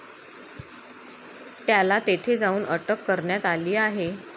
त्याला तेथ जाऊन अटक करण्यात आली आहे.